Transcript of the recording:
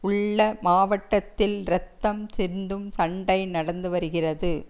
உள்ள மாவட்டத்தில் இரத்தம் சிந்தும் சண்டை நடந்து வருகிறது